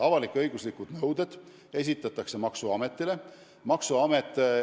Avalik-õiguslikud nõuded esitatakse maksuametile.